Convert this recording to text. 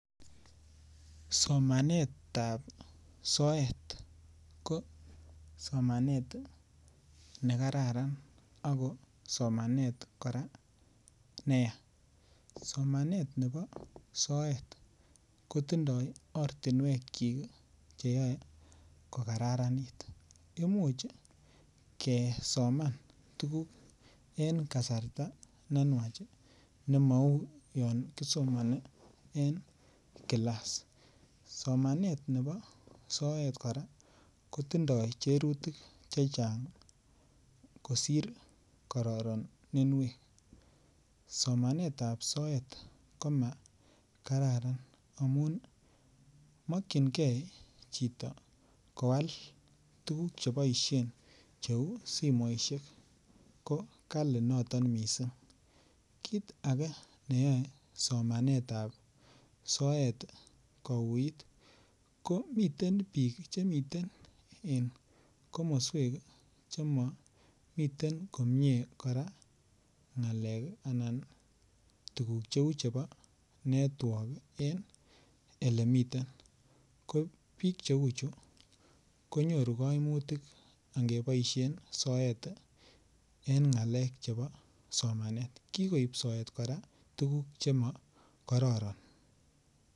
Somanet ab soet ko somanet ne kararan ako somanet kora neyaa somanet nebo soet kotinye ortinwekyik Che yae ko Kararanit Imuch kesoman tuguk en kasarta ne nwach ne mauu yon kisomoni en kilas somanet nebo soet kora kotinye cherutik chechang kosir kororoninwek somanet ab ko makararan amun mokyingei chito koal tuguk Che kisominen cheu simoisiek kit ake neyoe somanet ab soet kouit ko miten bik Che miten komoswek Che momiten komie kora ngalekab network en olemitei ko bik cheu chu konyoru koimutik en ngalek chebo somanet kikoib soet kora tuguk Che mo kororon